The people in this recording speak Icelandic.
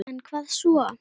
En hvað svo??